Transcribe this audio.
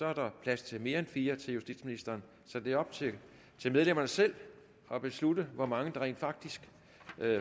er der plads til mere end fire til justitsministeren så det er op til medlemmerne selv at beslutte hvor mange der rent faktisk